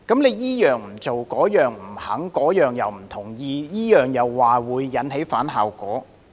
他這樣不做，那樣不肯、不同意，又說會引起反效果。